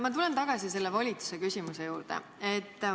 Ma tulen tagasi selle volituse küsimuse juurde.